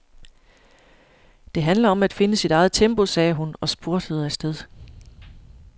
Det handler om at finde sit eget tempo, sagde hun og spurtede afsted.